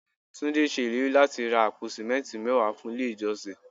Túndé ṣe ìlérí láti ra àpò simẹnti mẹ́wàá fún ilé ìjọsìn.